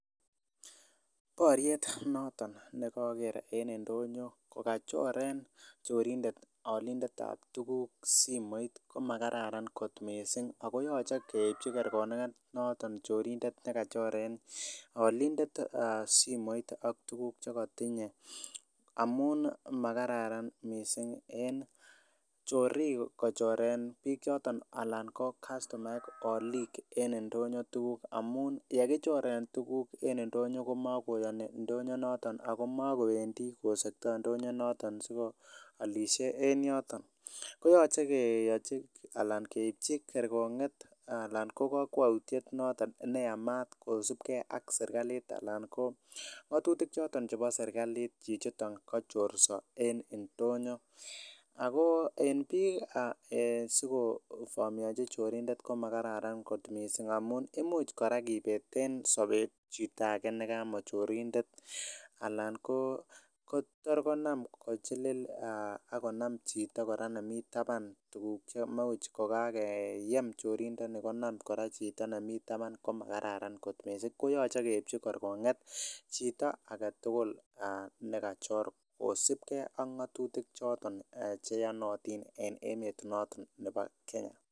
Boriet noton nekoker en ndonyo kokachoren chorindet olindet ab tuguk simoit ko makararan kot missing ako yoche keipchi kerkong'et noton chorindet nekachoren olindet simoit ak tuguk chemotinye amun makararan missing en chorik kochoren biik choton alan ko kastomaek oliik en ndonyo tuguk amun yekichoren tuguk en ndonyo komakoyoni ndonyo noton ako makowendii kosektoo ndonyo noton siko alisie en yoton koyoche keyochi ana keipchi kerkong'et ana ko kokwoutiet noton neyamat kosibgee ak serkalit anan ko ng'otutik choton chebo serkalit chichiton kachorso en ndonyo ako en biik sikovomionji chorindet komakararan missing amun imuch kora kibeten sobet chito ake nekamochorindet ana ko tor konam kochilil akonam chito kora nemii taban tuguk chemuch kokakeyem chorindoni konam kora chito nemii taban komakararan kot missing koyoche keipchi kerkong'et chito aketugul nekachor kosipgee ak ng'otutik choton cheyonotin en emet noton nebo Kenya